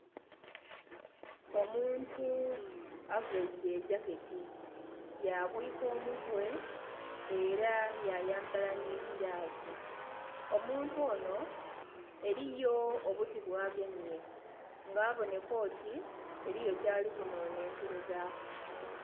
Omuntu avaire egyaketi ya bwika omutwe era yayambala nhi giilavu. Omuntu onho eriyo obuti bwa gemye nga abonheka oti eriyo kyali ku nonhenkelezaku.